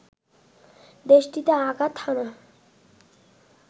দেশটিতে আঘাত হানা